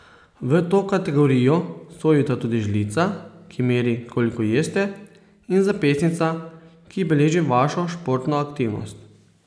V to kategorijo sodita tudi žlica, ki meri, koliko jeste, in zapestnica, ki beleži vašo športno aktivnost.